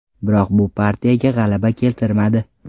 Biroq bu partiyaga g‘alaba keltirmadi.